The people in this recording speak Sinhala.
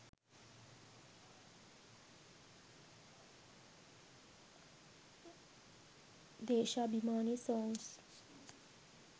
desha abemani songs